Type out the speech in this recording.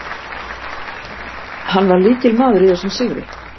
Hann var lykilmaður í þessum sigri.